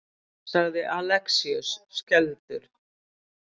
sagði Alexíus skelfdur.